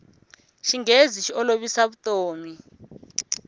xinghezi xi olovisa vutomi